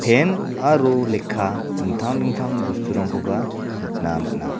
pen aro lekka dingtang dingtang bosturangkoba nikna man·a.